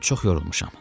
Çox yorulmuşam.